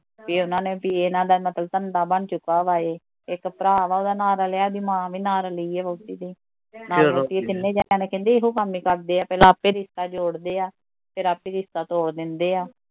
ਕੀ ਉਹਨਾਂ ਨੇ ਵੀ ਇਹਨਾਂ ਦਾ ਨਕਲ ਧੰਦਾ ਬਣ ਚੁੱਕਾ ਵਾਂ ਏਹ ਇੱਕ ਭਰਾ ਵਾਂ ਉਹਦਾ ਨਾਲ਼ ਰਲਿਆ ਓਹਦੀ ਮਾਂ ਵੀ ਨਾਲ਼ ਰਲੀ ਐ ਵਹੁਟੀ ਦੇ ਤਿਨੈ ਜਣੇ ਕਹਿੰਦੇ ਏਹੋ ਕੰਮ ਈ ਕਰਦੇ ਆ ਪਹਿਲਾਂ ਆਪੇ ਰਿਸ਼ਤਾ ਜੋੜਦੇ ਐ ਫਿਰ ਆਪੇ ਰਿਸ਼ਤਾ ਤੋੜ ਦਿੰਦੇ ਐ